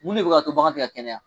Mun ne bi ka to bagan ti ka kɛnɛya ?